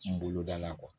N bolo da la